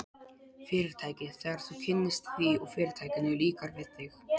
Fyrirtækið, þegar þú kynnist því, og Fyrirtækinu líkar við þig.